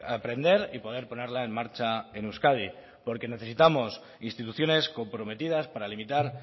aprender y poder ponerla en marcha en euskadi porque necesitamos instituciones comprometidas para limitar